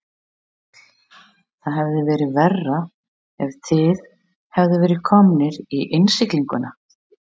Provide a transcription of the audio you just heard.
Páll: Það hefði verið verra ef þið hefðuð verið komnir í innsiglinguna?